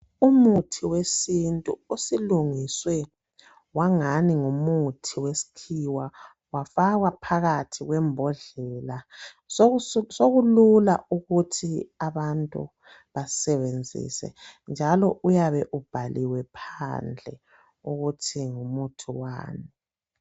Umuthi wesintu osulungiswe wangani ngumuthi wesikhiwa wafakwa phakathi kwembodlela sokulula ukuthi abantu bawusebenzise njalo uyabe ubhaliwe phandle ukuthi ngumuthi wani.